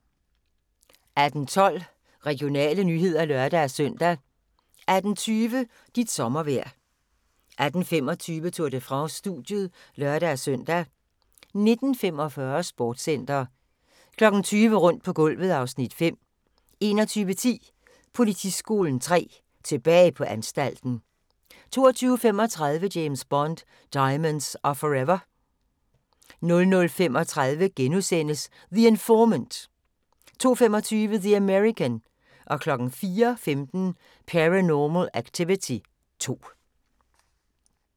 18:12: Regionale nyheder (lør-søn) 18:20: Dit sommervejr 18:25: Tour de France: Studiet (lør-søn) 19:45: Sportscenter 20:00: Rundt på gulvet (Afs. 5) 21:10: Politiskolen 3: Tilbage på anstalten 22:35: James Bond: Diamonds Are Forever 00:35: The Informant! * 02:25: The American 04:15: Paranormal Activity 2